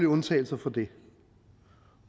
undtagelser fra det